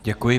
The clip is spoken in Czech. Děkuji.